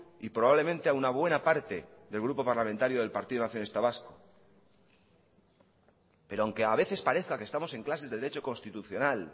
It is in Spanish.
y probablemente a una buena parte del grupo parlamentario del partido nacionalista vasco pero aunque a veces parezca que estamos en clases de derecho constitucional